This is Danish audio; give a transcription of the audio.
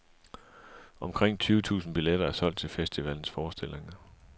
Omkring tyve tusinde billetter er solgt til festivalens forestillinger.